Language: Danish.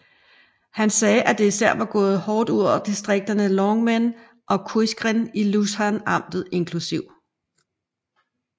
Han sagde at det især var gået hårdt ud over distrikterne Longmen og Quingren i Lushan amtet inkl